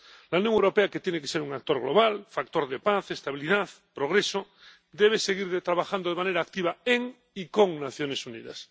La Unión Europea, que tiene que ser un actor global, factor de paz, estabilidad, progreso, debe seguir trabajando de manera activa en y con las Naciones Unidas.